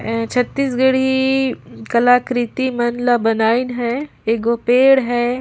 ये छत्तीसगढ़ी कलाकृति मन ला बनाइन है एगो पेड़ है।